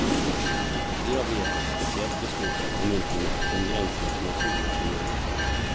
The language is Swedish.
Vi har begärt ett speciellt beslut av kommunfullmäktige om gränserna för naturvårdsområdet.